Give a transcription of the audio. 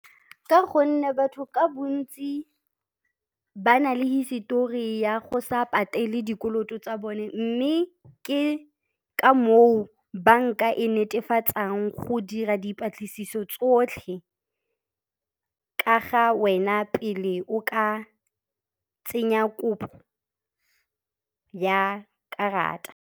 Ka gonne batho ka bontsi ba na le hisetori ya go sa patele dikoloto tsa bone mme ke ka moo banka e netefatsang go dira dipatlisiso tsotlhe ka ga wena pele o ka tsenya kopo ya karata.